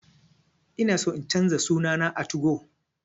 Ina so in canza suna na a 2go